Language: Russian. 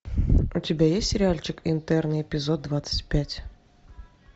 у тебя есть сериальчик интерны эпизод двадцать пять